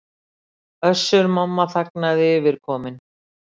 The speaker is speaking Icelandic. Össur-Mamma þagnaði yfirkominn.